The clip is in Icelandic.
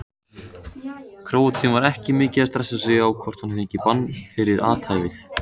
Króatinn var ekki mikið að stressa sig á hvort hann fengi bann fyrir athæfið.